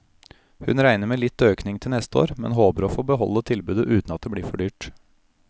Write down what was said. Hun regner med litt økning til neste år, men håper å få beholde tilbudet uten at det blir for dyrt.